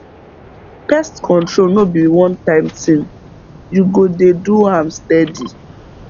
pest control no be onetime thing you go dey do am steady